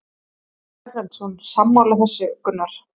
Ásgeir Erlendsson: Sammála þessu Gunnar?